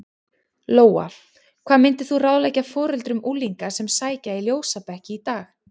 Lóa: Hvað myndir þú ráðleggja foreldrum unglinga sem að sækja í ljósabekki í dag?